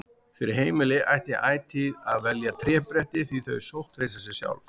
Fyrir heimili ætti ætíð að velja trébretti því þau sótthreinsa sig sjálf.